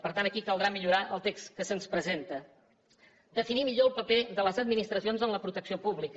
per tant aquí caldrà millorar el text que se’ns presenta definir millor el paper de les administracions en la protecció pública